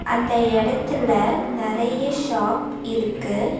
அந்த இடத்துல நெறைய ஷாப் இருக்கு.